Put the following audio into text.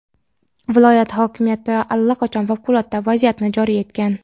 Viloyat hokimiyati allaqachon favqulodda vaziyatni joriy etgan.